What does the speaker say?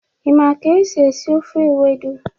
Ị ma ka esi esi ofe ewedu?